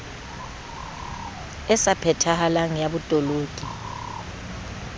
e sa phethahalang ya botoloki